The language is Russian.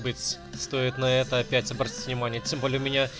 стоит на это опять обратить внимание тем более